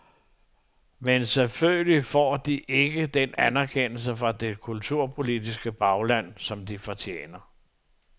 Men selvfølgelig får de ikke den anerkendelse fra det kulturpolitiske bagland, som de fortjener.